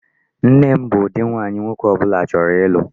Nne m bụ ụdị nwaanyị nwoke ọbụla chọrọ ịlụ.